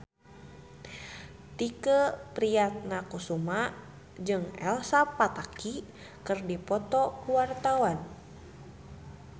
Tike Priatnakusuma jeung Elsa Pataky keur dipoto ku wartawan